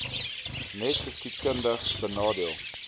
net geskiedkundig benadeelde